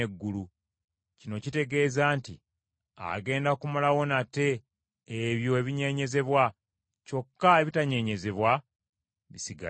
Kino kitegeeza nti agenda kumalawo nate ebyo ebinyenyezebwa, kyokka ebitanyenyezebwa bisigalewo.